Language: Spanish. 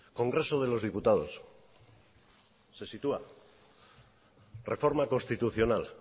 congreso de los diputados se sitúa reforma constitucional